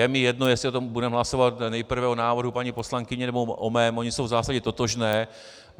Je mi jedno, jestli budeme hlasovat nejprve o návrhu paní poslankyně, nebo o mém, ony jsou v zásadě totožné.